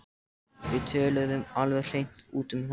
Við töluðum alveg hreint út um þetta.